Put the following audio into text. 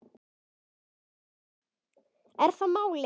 Er það málið?